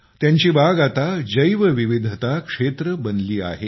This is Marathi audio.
त्यांची बाग आता जैवविविधता क्षेत्र बनले आहे